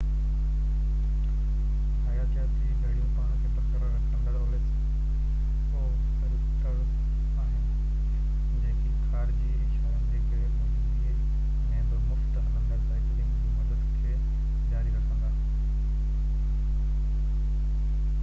حياتياتي گھڙيون پاڻ کي برقرار رکيندڙ اوسيليٽرز آھن جيڪي خارجي اشارن جي غير موجودگي ۾ به مفت-هلندڙ سائيڪلنگ جي مدت کي جاري رکندا